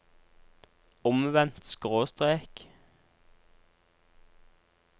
omvendt skråstrek